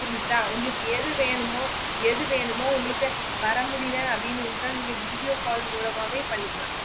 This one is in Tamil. புரிஞ்சிதா உங்களுக்கு எது வேணுமோ எது வேணுமோ உங்களுக்கு வர முடிலென அப்புடின்னு இருந்த video call மூலமாவே பண்ணிக்கலாம்